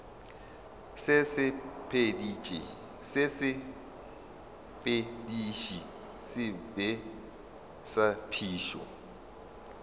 sesepediši se sebe sa phišo